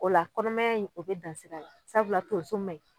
O la kɔnɔmanya in o bɛ dan sira la, sabula tonso ma ɲi.